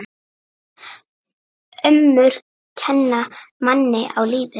Ömmur kenna manni á lífið.